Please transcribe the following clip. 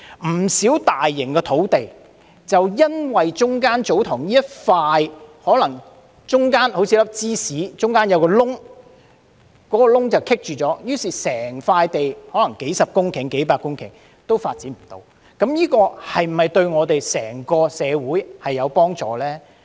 不少大型土地的發展就是因為中間的一塊祖堂地——就像一片芝士中間的一個洞——而出現阻滯，於是面積可能高達數十至數百公頃的整塊土地便不能發展，這樣對我們整個社會是否有幫助呢？